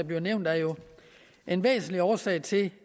blev nævnt er jo en væsentlig årsag til